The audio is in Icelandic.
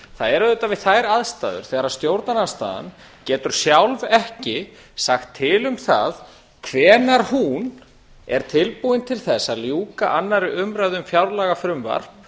það er við þær aðstæður þegar stjórnarandstaðan getur sjálf ekki sagt til um það hvenær hún er tilbúin til þess að ljúka annarrar umræðu um fjárlagafrumvarp